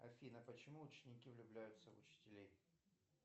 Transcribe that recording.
афина почему ученики влюбляются в учителей